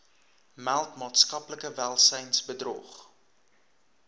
meld maatskaplike welsynsbedrog